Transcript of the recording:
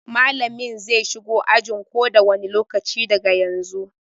Mallamin zai shigo ajin ko da wani lokaci daga yanzu.